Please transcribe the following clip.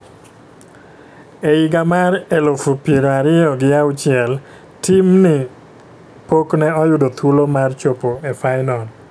E higa mar elufu piero ariyo gi auchiel, tim ni pok ne oyudo thuolo mar chopo e finol